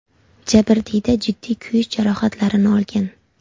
Jabrdiyda jiddiy kuyish jarohatlarini olgan.